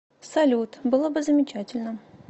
салют было бы замечательно